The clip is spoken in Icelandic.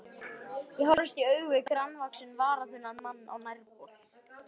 Ég horfist í augu við grannvaxinn, varaþunnan mann á nærbol.